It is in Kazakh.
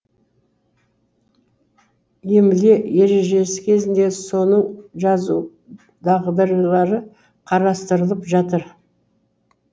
емле ережесі кезінде соның жазу дағдылары қарастырылып жатыр